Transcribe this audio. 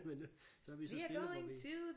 Men øh så vi så stille hvor vi